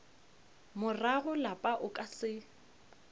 morago lapa o ka se